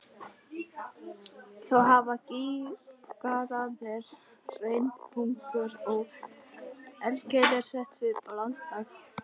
Þó hafa gígaraðir, hraunbungur og eldkeilur sett svip á landslag.